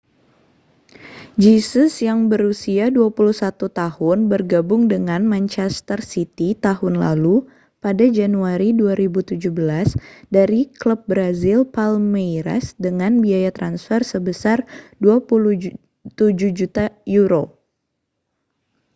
jesus yang berusia 21 tahun bergabung dengan manchester city tahun lalu pada januari 2017 dari klub brazil palmeiras dengan biaya transfer sebesar â£ 27 juta